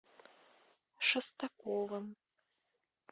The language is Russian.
шестаковым